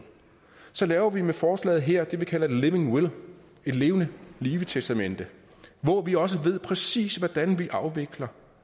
så laver vi med forslaget her det vi kalder living will et levende live testamente hvor vi også præcis ved hvordan vi afvikler